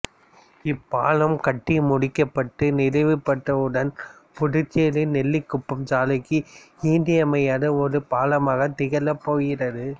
இப்பாலம் கட்டி முடிக்கப்பட்டு நிறைவு பெற்றவுடன் புதுச்சேரி நெல்லிக்குப்பம் சாலைக்கு இன்றியமையாத ஒரு பாலமாகத் திகழப்போகிறது